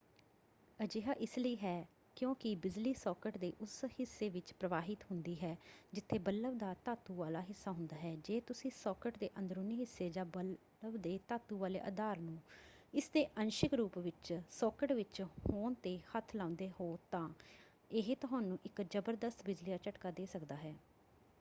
ਅਜਿਹਾ ਇਸ ਲਈ ਹੈ ਕਿਉਂਕਿ ਬਿਜਲੀ ਸਾਕਟ ਦੇ ਉਸ ਹਿੱਸੇ ਵਿੱਚ ਪ੍ਰਵਾਹਿਤ ਹੁੰਦੀ ਹੈ ਜਿੱਥੇ ਬਲਬ ਦਾ ਧਾਤੂ ਵਾਲਾ ਹਿੱਸਾ ਹੁੰਦਾ ਹੈ ਜੇ ਤੁਸੀਂ ਸਾਕਟ ਦੇ ਅੰਦਰੂਨੀ ਹਿੱਸੇ ਜਾਂ ਬਲਬ ਦੇ ਧਾਤੂ ਵਾਲੇ ਆਧਾਰ ਨੂੰ ਇਸਦੇ ਅੰਸ਼ਿਕ ਰੂਪ ਵਿੱਚ ਸਾਕਟ ਵਿੱਚ ਹੋਣ 'ਤੇ ਹੱਥ ਲਾਉਂਦੇ ਹੋ ਤਾਂ ਇਹ ਤੁਹਾਨੂੰ ਇੱਕ ਜ਼ਬਰਦਸਤ ਬਿਜਲੀ ਦਾ ਝਟਕਾ ਦੇ ਸਕਦਾ ਹੈ।